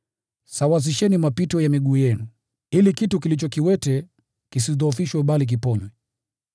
Sawazisheni mapito ya miguu yenu, ili kitu kilicho kiwete kisidhoofishwe bali kiponywe.